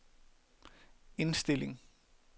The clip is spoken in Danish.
indstilling